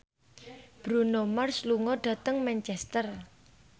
Bruno Mars lunga dhateng Manchester